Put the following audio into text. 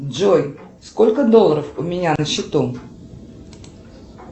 джой сколько долларов у меня на счету